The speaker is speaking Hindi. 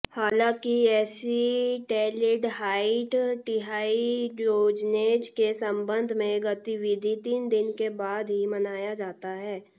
हालांकि एसीटैल्डिहाइड डिहाइड्रोजनेज के संबंध में गतिविधि तीन दिन के बाद ही मनाया जाता है